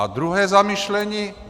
A druhé zamyšlení.